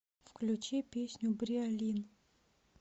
включи песню бриолин